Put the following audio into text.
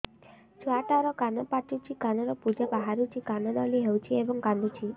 ଛୁଆ ଟା ର କାନ ପାଚୁଛି କାନରୁ ପୂଜ ବାହାରୁଛି କାନ ଦଳି ହେଉଛି ଏବଂ କାନ୍ଦୁଚି